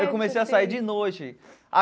Eu comecei a sair de noite a.